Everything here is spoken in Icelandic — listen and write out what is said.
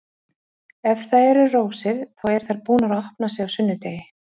Ef það eru rósir, þá eru þær búnar að opna sig á sunnudegi.